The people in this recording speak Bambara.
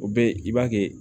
O be yen i b'a kɛ